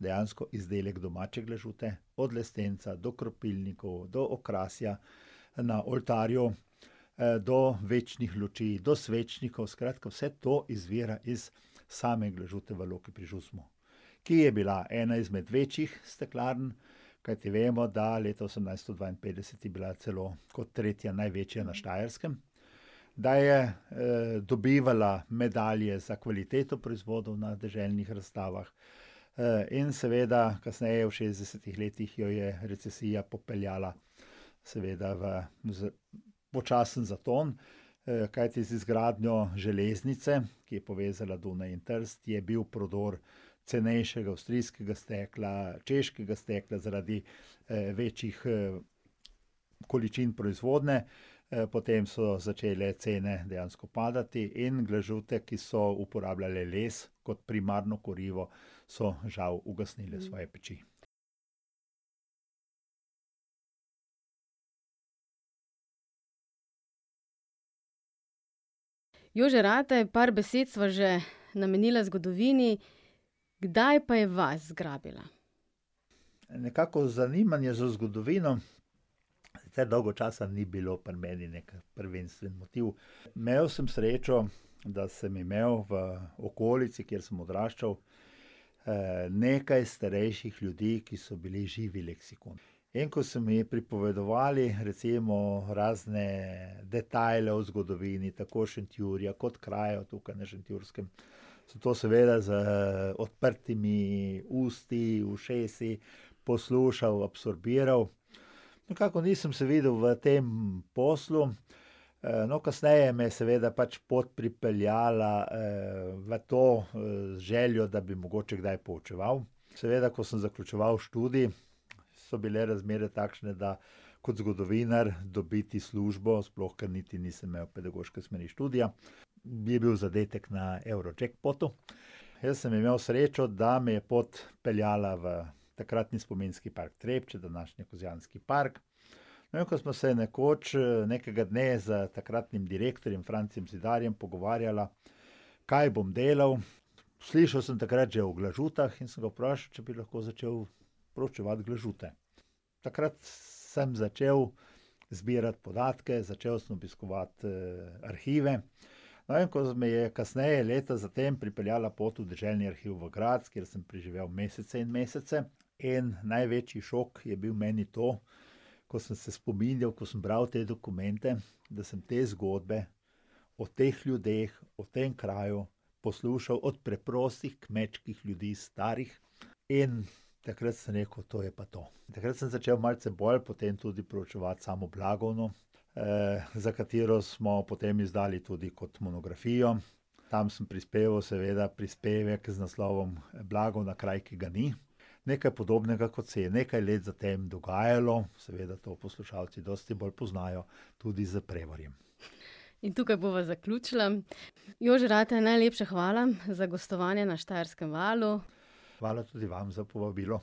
dejansko izdelek domače glažute. Od lestenca do kropilnikov, do okrasja na oltarju, do večnih luči, do svečnikov, skratka vse to izvira iz same glažute v Loki pri Žusmu, ki je bila ena izmed večjih steklarn, kajti vemo, da leta osemnajststo dvainpetdeset je bila celo kot tretja največja na Štajerskem, da je, dobivala medalje za kvaliteto proizvodov na deželnih razstavah, in seveda kasneje v šestdesetih letih jo je recesija popeljala seveda v počasen zaton. kajti z izgradnjo železnice, ki je povezala Dunaj in Trst, je bil prodor cenejšega avstrijskega stekla, češkega stekla zaradi, večjih, količin proizvodnje. potem so začele cene dejansko padati in glažute, ki so uporabljale les kot primarno kurivo, so žal ugasnile svoje peči. Jože Rataj, par besed sva že namenila zgodovini. Kdaj pa je vas zgrabila? Nekako zanimanje za zgodovino sicer dolgo časa ni bilo pri meni neki prvenstven motiv. Imeli sem srečo, da sem imel v okolici, kjer sem odraščal, nekaj starejših ljudi, ki so bili živi leksikoni. In ko so mi pripovedovali recimo razne detajle o zgodovini, tako Šentjurja kot krajev tukaj na Šentjurskem, sem to seveda z odprtimi usti, ušesi poslušal, absorbiral. Nekako nisem se videl v tem poslu. no, kasneje me je seveda pač pot pripeljala, v to željo, da bi mogoče kdaj poučeval. Seveda, ko sem zaključeval študij, so bile razmere takšne, da kot zgodovinar dobiti službo, sploh, ker niti nisem imel pedagoške smeri študija, bi bil zadetek na Eurojackpotu. Jaz sem imel srečo, da me je pot peljala v takratni spominski park Trebče, današnji Kozjanski park. No, in ko smo se nekoč, nekega dne s takratnim direktorjem Francijem Zidarjem pogovarjala, kaj bom delal, slišal sem takrat že o glažutah in sem ga vprašal, če bi lahko začel proučevati glažute. Takrat sem začel zbirati podatke, začel sem obiskovati, arhive. No, in ko me je kasneje, leta zatem, pripeljala pot v Deželni arhiv v Graz, kjer sem preživel mesece in mesece, in največji šok je bil meni to, ko sem se spominjal, ko sem bral te dokumente, da sem te zgodbe o teh ljudeh, o tem kraju poslušal od preprostih kmečkih ljudi starih. In takrat sem rekel: "To je pa to." Takrat sem začel malce bolj potem tudi preučevati samo Blagovno, za katero smo potem izdali tudi kot monografijo. Tam sem prispeval seveda prispevek z naslovom Blagovna: kraj, ki ga ni. Nekaj podobnega, kot se je nekaj let zatem dogajalo, seveda to poslušalci dosti bolj poznajo, tudi s Prevaljem. In tukaj bova zaključila. Jože Rataj, najlepša hvala za gostovanje na Štajerskem valu. Hvala tudi vam za povabilo.